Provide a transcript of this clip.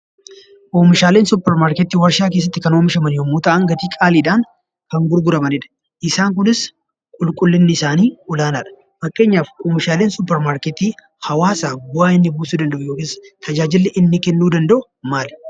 Oomishaaleen supper markettii warshaa keessatti kan oomishaman yemmuu ta'an gatii qaaliidhan gkan gurguramanidha. Isaanis qulqullinni isaanii olaanaadha. Fakkeenyaaf oomishaaleen supper markettii hawaasaaf bu'aan inni buusuu fi tajaajilli inni kennuu danda'u maali?